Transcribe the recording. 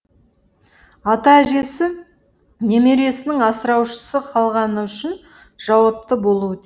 ата әжесі немересінің асыраушысыз қалғаны үшін жауапты болуы